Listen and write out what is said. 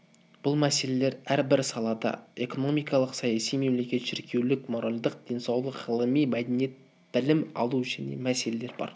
бұл мәселелер әрбір салада экономикалық саяси мемлекет шіркеулік моральдық денсаулық ғылыми мәдениет білім алу және мәселелер бар